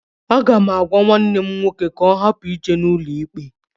Aga m agwa nwanne m nwoke ka ọ hapụ ije n'ụlọikpe.